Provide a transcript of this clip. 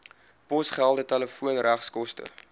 posgeld telefoon regskoste